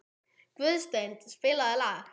Guðstein, spilaðu lag.